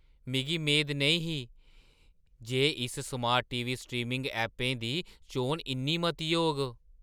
मिगी मेद नेईं ही जे इस स्मार्ट टी. वी. च स्ट्रीमिंग ऐपें दी चोन इन्नी मती होग!